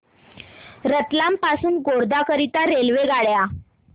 रतलाम पासून गोध्रा करीता रेल्वेगाड्या